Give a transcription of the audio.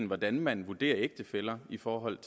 hvordan man vurderer ægtefæller i forhold